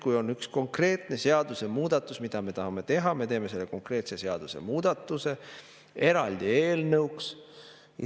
Kui on üks konkreetne seadusemuudatus, mida me tahame teha, siis me teeme selle konkreetse seadusemuudatuse eraldi eelnõuks.